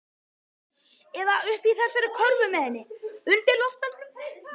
Eða uppi í þessari körfu með henni. undir loftbelgnum.